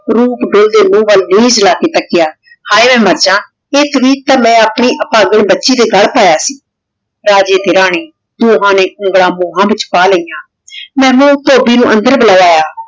ਰੂਪ ਤੋਂ ਓਡੀ ਮੁਹ ਵਾਲ ਤਾਕ੍ਯ ਹੇ ਮੈਂ ਮਾਰ ਜਾਂ ਆਯ ਤਵੀਤ ਤਾਂ ਮੈਂ ਆਪਣੀ ਅਪਾਗੀ ਬਚੀ ਦੇ ਗਲ ਪਾਯਾ ਸੀ ਰਾਜੇ ਤੇ ਰਾਨੀ ਦੋਹਾਂ ਨੇ ਉਂਗਲਾਂ ਮੁਹਾਂ ਵਿਚ ਪਾ ਲੈਯਾਂ ਮੇਹਬੂਬ ਧੋਬੀ ਨੂ ਅੰਦਰ ਬੁਲਾਯ